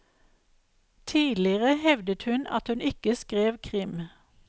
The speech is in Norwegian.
Tidligere hevdet hun at hun ikke skrev krim.